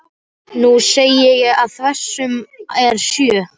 Nú sé ég að þversumman er sjö.